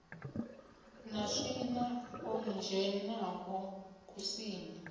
na swina ḽo dzhenaho kusini